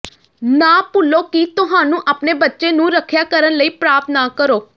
ਨਾ ਭੁੱਲੋ ਕਿ ਤੁਹਾਨੂੰ ਆਪਣੇ ਬੱਚੇ ਨੂੰ ਰੱਖਿਆ ਕਰਨ ਲਈ ਪ੍ਰਾਪਤ ਨਾ ਕਰੋ